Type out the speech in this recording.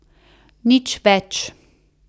Nič več.